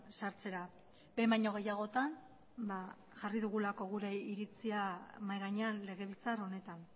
sartzera behin baino gehiagotan jarri dugulako gure iritzia mahai gainean legebiltzar honetan